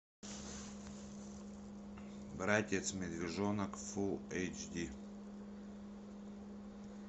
братец медвежонок фул эйч ди